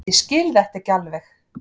Ég skil þetta ekki alveg.